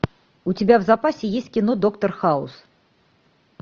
у тебя в запасе есть кино доктор хаус